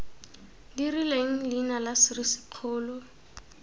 di rileng leina la serisikgolo